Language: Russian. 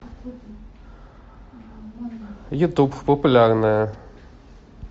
ютуб популярное